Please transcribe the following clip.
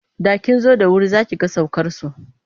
Da kin zo da wuri za ki ga saukarsu.